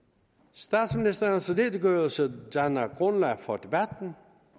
statsministerens redegørelse danner grundlag for debatten